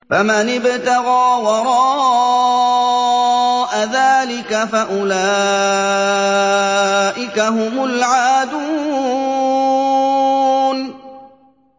فَمَنِ ابْتَغَىٰ وَرَاءَ ذَٰلِكَ فَأُولَٰئِكَ هُمُ الْعَادُونَ